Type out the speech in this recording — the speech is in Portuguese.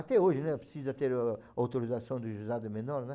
Até hoje, né, precisa ter a autorização do juizado menor, né?